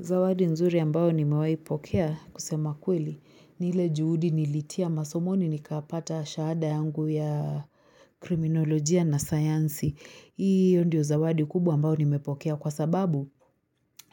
Zawadi nzuri ambayo nimewaipokea kusema kweli ni ile juhudi nilitia masomoni nikapata shahada yangu ya kriminolojia na sayansi. Hiyo ndio zawadi kubu ambayo nimepokea kwa sababu